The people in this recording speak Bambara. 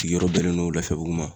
Sigiyɔrɔ bɛnnen no laafiyabugu ma.